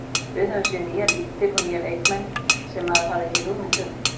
Við höfum séð nýjar víddir og nýja markmenn sem maður hafði ekki hugmynd um.